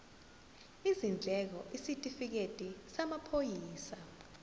izindleko isitifikedi samaphoyisa